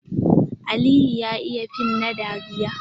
Aliyu ya iya fim na dariya.